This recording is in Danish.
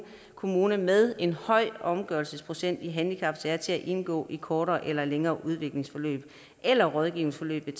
kommune med en høj omgørelsesprocent i handicapsager til at indgå i kortere eller længere udviklings eller rådgivningsforløb med